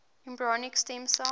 embryonic stem cell